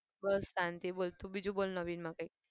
બસ શાંતિ બોલ તું બીજું બોલ નવીન માં કંઈક.